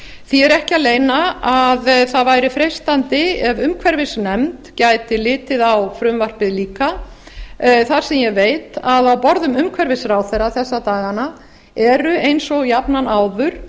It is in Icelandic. því er ekki að leyna að það væri freistandi ef umhverfisnefnd gæti litið á frumvarpið auka þar sem ég veit að á borðum umhverfisráðherra þessa dagana eru eins og jafnan áður